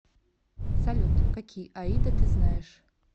салют какие аида ты знаешь